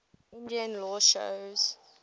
indian law shows